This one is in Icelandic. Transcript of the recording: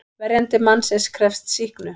Verjandi mannsins krefst sýknu.